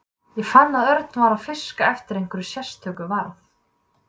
Ég fann að Örn var að fiska eftir einhverju sérstöku varð